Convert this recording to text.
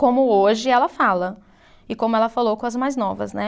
como hoje ela fala e como ela falou com as mais novas, né?